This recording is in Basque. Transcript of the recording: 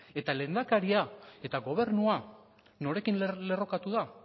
eta lehendakaria eta gobernua norekin lerrokatu da